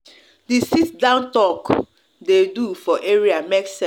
the sit-down talk dem do for area make sense